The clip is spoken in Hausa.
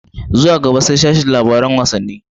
Zuwa gaba sai sashin labaran wassani.